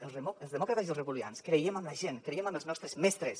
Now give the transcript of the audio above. els demòcrates i els republicans creiem en la gent creiem en els nostres mestres